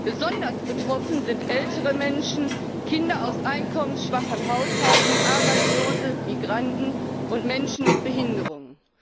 Besonders betroffen sind ältere Menschen, Kinder aus einkommensschwachen Haushalten, Arbeitslose, Migranten und Menschen mit Behinderungen.